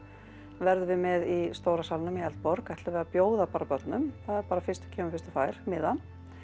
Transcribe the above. verðum við með í stóra salnum í Eldborg ætlum við að bjóða börnum það er bara fyrstur kemur fyrstur fær miða